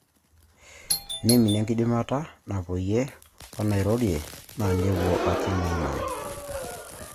Neiminie enkidimata napoyie wenairorie na nepwo aki maiman.